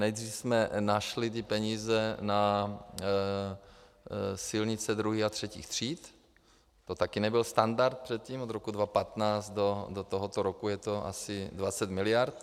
Nejdřív jsme našli ty peníze na silnice druhých a třetích tříd, to taky nebyl standard, předtím od roku 2015 do tohoto roku je to asi 20 miliard.